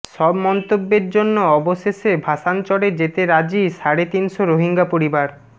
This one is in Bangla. সব মন্তব্যের জন্য অবশেষে ভাসানচরে যেতে রাজি সাড়ে তিনশ রোহিঙ্গা পরিবার